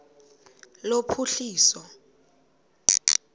lophuhliso